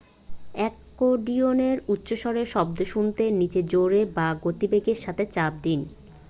অ্যাকর্ডিয়নে উচ্চস্বরে শব্দ শুনতে নীচে জোরে বা গতিবেগের সাথে চাপ দিন